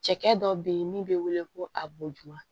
Cɛkɛ dɔ bɛ yen min bɛ wele ko a boduwa